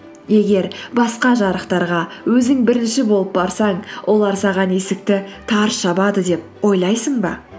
егер басқа жарықтарға өзің бірінші болып барсаң олар саған есікті тарс жабады деп ойлайсың ба